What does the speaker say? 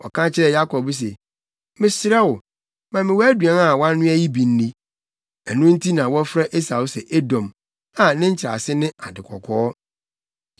Ɔka kyerɛɛ Yakob se, “Mesrɛ wo, ma me wʼaduan a woanoa yi bi nni!” Ɛno nti na wɔfrɛ Esau sɛ Edom, a nkyerɛase ne ade kɔkɔɔ.